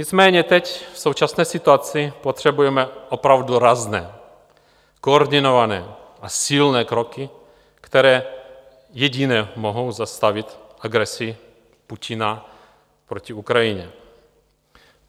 Nicméně teď, v současné situaci, potřebujeme opravdu rázné, koordinované a silné kroky, které jediné mohou zastavit agresi Putina proti Ukrajině.